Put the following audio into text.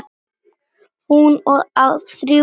Hún á þrjú börn.